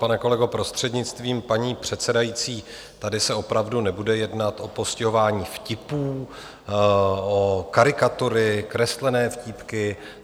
Pane kolego, prostřednictvím paní předsedající, tady se opravdu nebude jednat o postihování vtipů, o karikatury, kreslené vtípky.